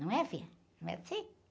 Não é, filha? Não é assim?